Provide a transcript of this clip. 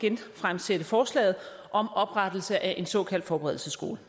genfremsætte forslaget om oprettelse af en såkaldt forberedelsesskole